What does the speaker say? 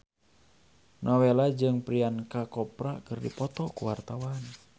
Nowela jeung Priyanka Chopra keur dipoto ku wartawan